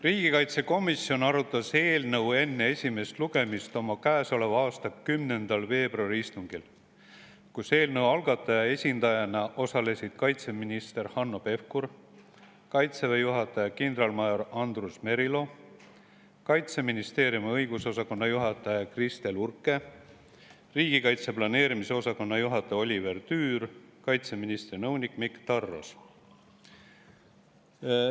Riigikaitsekomisjon arutas eelnõu enne esimest lugemist oma käesoleva aasta 10. veebruari istungil, kus eelnõu algataja esindajana osalesid kaitseminister Hanno Pevkur, Kaitseväe juhataja kindralmajor Andrus Merilo, Kaitseministeeriumi õigusosakonna juhataja Kristel Urke, riigikaitse planeerimise osakonna juhataja Oliver Tüür ja kaitseministri nõunik Mikk Tarros.